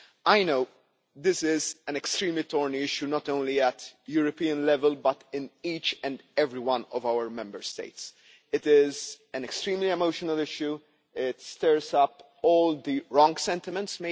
I know this is an extremely thorny issue not only at European level, but in each and every one of our Member States. It is an extremely emotional issue, and perhaps stirs up all the wrong sentiments.